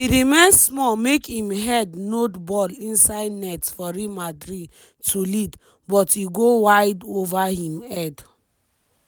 e remain small make im head nod ball inside net for real madrid to lead but e go wide ova im head.